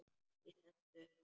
Ég sest upp.